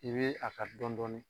I bɛ a ka dɔɔnin dɔɔnin